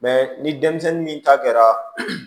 ni denmisɛnnin min ta kɛra